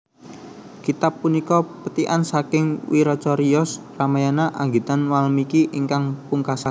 Kitab punika pethikan saking wiracariyos Ramayana anggitan Walmiki ingkang pungkasan